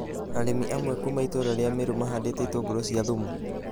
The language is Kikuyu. Arĩmĩ amwe kuuma itũra rĩa Mĩrũ mahandĩte itũngũrũ cia thumu.